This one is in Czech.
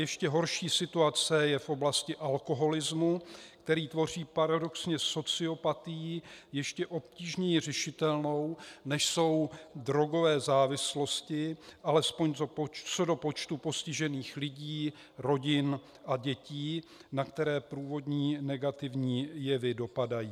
Ještě horší situace je v oblasti alkoholismu, který tvoří paradoxně sociopatii ještě obtížněji řešitelnou, než jsou drogové závislosti, alespoň co do počtu postižených lidí, rodin a dětí, na které průvodní negativní jevy dopadají.